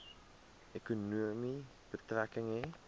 ekonomie betrekking hê